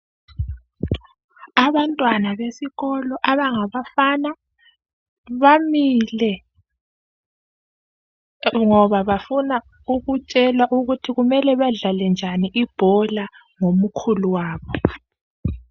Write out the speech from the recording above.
Abantwana besikolo abangabafana bamile, ngoba bafuna ukutshelwa ukuthi kumele badlale njani ibhola, ngomkhulu wabo.